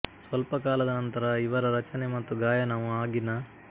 ಸ್ವಲ್ಪ ಕಾಲದ ನಂತರ ಇವರ ರಚನೆ ಮತ್ತು ಗಾಯನವು ಆಗಿನ